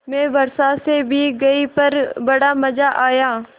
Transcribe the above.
मैं वर्षा से भीग गई पर बड़ा मज़ा आया